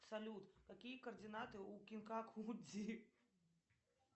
салют какие координаты у кинкаку дзи